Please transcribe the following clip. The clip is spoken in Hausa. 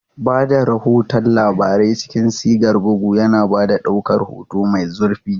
Ba da rahoton labarai cikin sigar bugu, yana ba da ɗaukar hoto mai zurfi.